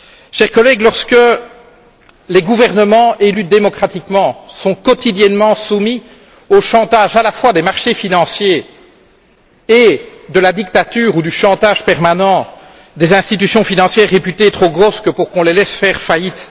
Chers collègues, lorsque les gouvernements élus démocratiquement sont quotidiennement soumis au chantage à la fois des marchés financiers et à la dictature ou au chantage permanent des institutions financières réputées trop grosses pour qu'on les laisse aller à la faillite